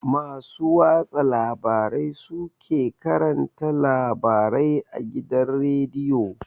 Masu watsa labarai su ke karanta labarai a gidan rediyo